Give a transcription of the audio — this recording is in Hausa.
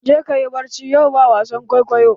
Je ka yi barci, yau ba wasan kwaikwaiyo!